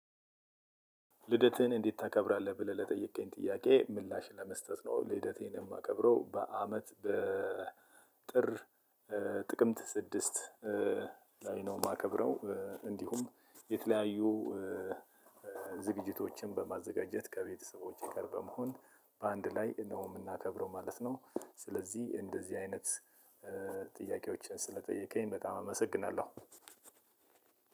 ልደትህን እንዴት ታከብረዋለህ? ብለህ ለጠየቀኝ ጥያቄ ምላሽን ለመስጠት ነው። ልደቴን የማከብረው በአመት በጥር ጥቅምት ስድስት ላይ ነው የማከብረው እንዲሁም የተለያዩ ዝግጅቶችን በማዘጋጀት ከቤተሰቦቼ ጋር በመሆን በአንድ ላይ ሆነን ነው የምናከብረው ማለት ነው። ስለዚህ እንደዚህ አይነት ጥያቄዎች ስለጠየከኝ በጣም አመሰግናለሁ።